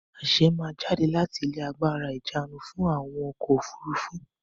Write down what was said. Àṣe máa jáde láti ilé agbára ìjánu fún àwọn ọkọ̀-òfurufú.